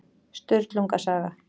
Sturlunga saga.